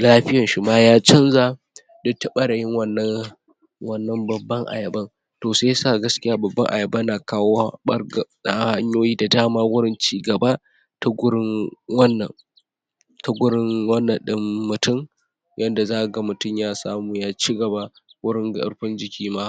lafiyan shi ma ya canza duk ta ɓarayin wannan wannan babban ayaban to shiyasa gaskiya babban ayaba na kawo ɓar?hanyoyi da dama wurin cigaba ta gurin wannan ta gurin wannnan ɗin mutum yanda zakaga mutum ya samu ya cigaba wurin ƙarfin jiki ma.